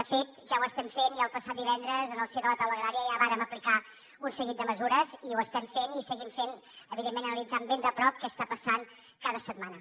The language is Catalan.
de fet ja ho estem fent i el passat divendres en el si de la taula agrària ja vàrem aplicar un seguit de mesures i ho estem fent i seguim fent evidentment analitzant ben de prop què està passant cada setmana